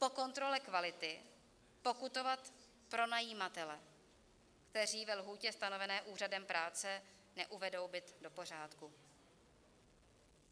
Po kontrole kvality pokutovat pronajímatele, kteří ve lhůtě stanovené úřadem práce neuvedou byt do pořádku.